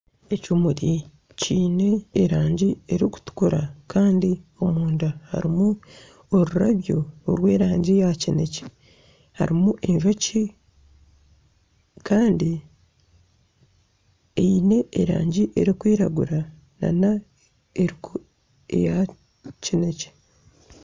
Ekimuri kiine erangi erikutukura kandi omunda harimu orurabyo orw'erangi ya kinekye. Harimu enjoki kandi eine erangi erikwiragura n'eya kinekye.